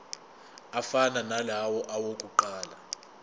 afana nalawo awokuqala